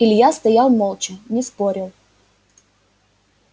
илья стоял молча не спорил